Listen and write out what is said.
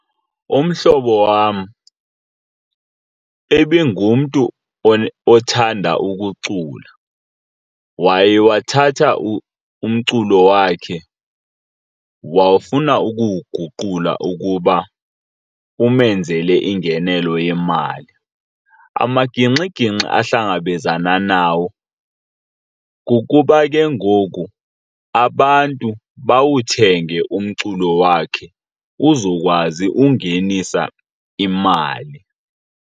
Umhlobo wam ebingumntu othanda ukucula. Waye wathatha umculo wakhe wawufuna ukuwuguqula ukuba umenzele ingenelo yemali. Amaginxiginxi ahlangabezana nawo kukuba ke ngoku abantu bawuthenge umculo wakhe uzokwazi ungenisa imali.